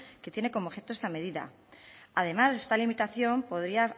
que tiene como objeto esta medida además esta limitación podría